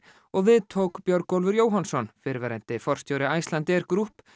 og við tók Björgólfur fyrrverandi forstjóri Icelandair Group